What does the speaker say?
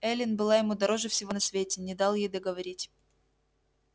эллин была ему дороже всего на свете не дал ей договорить